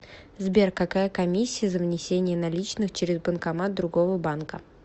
сбер какая комиссия за внесение наличных через банкомат другого банка